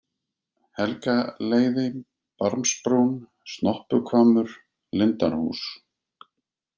Helgaleiði, Barmsbrún, Snoppuhvammur, Lindarhús